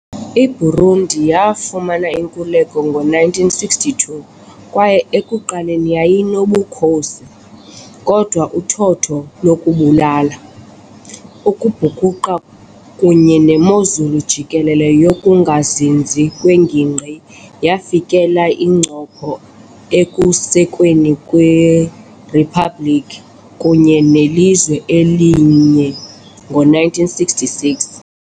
IBurundi yafumana inkululeko ngo-1962 kwaye ekuqaleni yayinobukhosi, kodwa uthotho lokubulala, ukubhukuqa kunye nemozulu jikelele yokungazinzi kwengingqi yafikelela incopho ekusekweni kweriphabliki kunye nelizwe elinye ngo-1966.